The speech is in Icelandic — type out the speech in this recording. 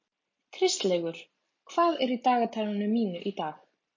Kristlaugur, hvað er í dagatalinu mínu í dag?